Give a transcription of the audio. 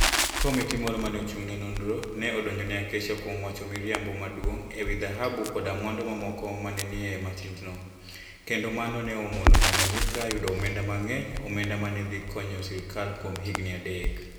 Komiti moro ma ne ochung ' ne nonro, ne odonjo ne Acacia kuom wacho miriambo maduong ' e wi dhahabu koda mwandu mamoko ma ne nie masindno, kendo mano ne omono Tanganyika yudo omenda mang'eny - omenda ma ne dhi konyo sirkal kuom higini adek.